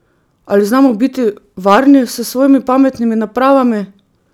Ali znamo biti varni s svojimi pametnimi napravami?